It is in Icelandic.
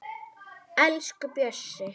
Elsku Bjössi.